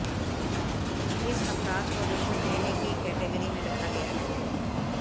इस अपराध को रिश्वत लेने की कैटेगरी में रखा गया है